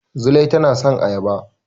Zulai tana son ayaba.